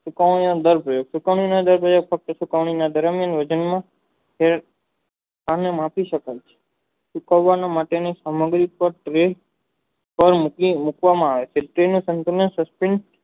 સુકાવાની અંદર જે માપી સકન સુકવા માટેની સમગ્રત મુકવામાં આવે છે તેને સાન્તાનીત